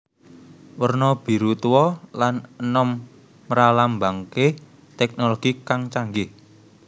Werna Biru Tuwa lan enommralambangake teknologi kang canggih